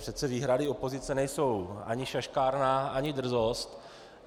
Přece výhrady opozice nejsou ani šaškárna ani drzost.